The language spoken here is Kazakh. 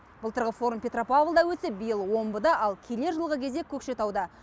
былтырғы форум петропавлдаөтсе биыл омбыда ал келер жылғы кезек көкшетауда